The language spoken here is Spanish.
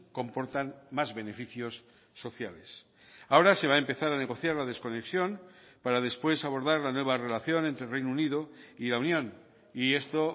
comportan más beneficios sociales ahora se va a empezar a negociar la desconexión para después abordar la nueva relación entre reino unido y la unión y esto